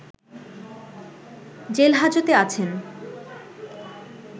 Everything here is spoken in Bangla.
জেলহাজতে আছেন